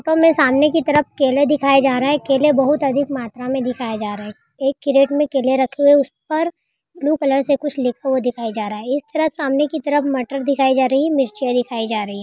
हमे सामने की तरफ केले दिखाई जा रहे है केले बहुत अधिक मात्रा में दिखाए जा रहे हैं एक कैरेट में केले रखे हुए हैं इस पर ब्लू कलर से कुछ लिखा दिखाया जा रहा है इसमें सामने की तरफ मटर दिखाई जा रही है मिर्च दिखाई जा रही है।